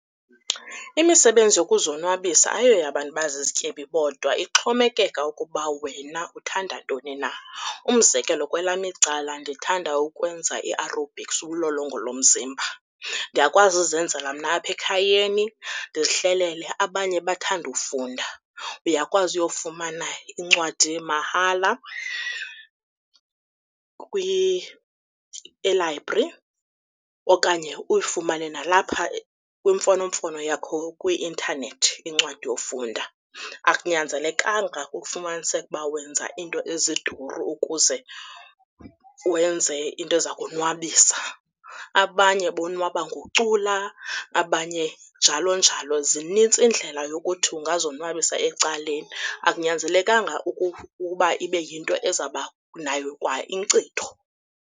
Imisebenzi yokuzonwabisa ayoyabantu bazizityebi bodwa, ixhomekeka ukuba wena uthanda ntoni na. Umzekelo, kwelam icala ndithanda ukwenza iarobhiksi ulolongo lomzimba. Ndiyakwazi uzenzela mna apha ekhayeni ndizihlelele. Abanye bathanda ufunda, uyakwazi uyofumana incwadi mahala elayibri okanye uyifumane nalapha kwimfonomfono yakho kwi-intanethi incwadi yofunda. Akunyanzelekanga ukufumaniseke uba wenza iinto eziduru ukuze wenze into eza konwabisa. Abanye bonwaba ngocula, abanye njalo njalo, zinintsi iindlela yokuthi ungazonwabisa ecaleni. Akunyanzelekanga ukuba ibe yinto ezaba nayo kwa inkcitho.